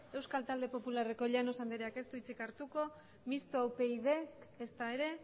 euskal talde popularreko llanos andreak ez du hitzik hartuko mistoa upyd ezta ere